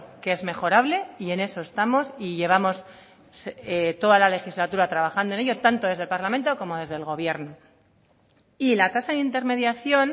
que es mejorable y en eso estamos y llevamos toda la legislatura trabajando en ello tanto desde el parlamento como desde el gobierno y la tasa de intermediación